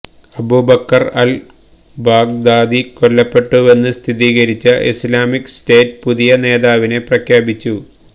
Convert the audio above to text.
Abubakar al Baghdadi കൊല്ലപ്പെട്ടുവെന്ന് സ്ഥിരീകരിച്ച Islamic State പുതിയ നേതാവിനെ പ്രഖ്യാപിച്ചു